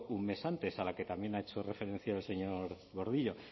un mes antes a la que también ha hecho referencia el señor gordillo